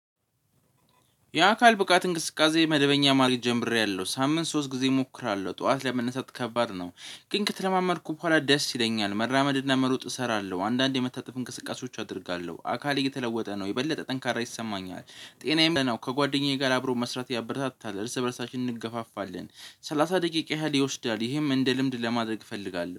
የአካል ብቃት እንቅስቃሴ መደበኛ ማርግ ጀምሬያለሁ ሳምንት ሶስት ጊዜ እሞክራለሁ ጠዋት ለመነሰት ከባድ ነው። ግን ከተለማመድኩ በኋላ ደስ ይለኛል መራመድና መሮጥ እሰራለሁ አንዳንዴ የመታጠፍ እንቅስቃሴዎች አደርጋለሁ አካል እየተለወጠ ነው የበለጠ ጠንካራ ይሰማኛል። ጤናዬም ነው ከጓደኛዬ ጋር አብሮ መስራት ያበረታታል እርስ በራሳችን እንገፋፋለን። ሰላሳ ደቂቅ ያህል ይወስዳል ይሄም እንደ ልምድ ለማድረግ እፈልጋለሁ።